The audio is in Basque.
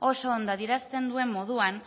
oso ondo adierazten duen moduan